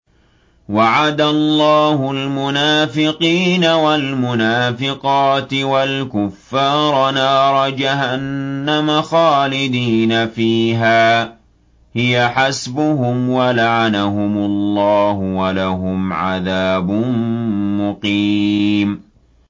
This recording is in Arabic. وَعَدَ اللَّهُ الْمُنَافِقِينَ وَالْمُنَافِقَاتِ وَالْكُفَّارَ نَارَ جَهَنَّمَ خَالِدِينَ فِيهَا ۚ هِيَ حَسْبُهُمْ ۚ وَلَعَنَهُمُ اللَّهُ ۖ وَلَهُمْ عَذَابٌ مُّقِيمٌ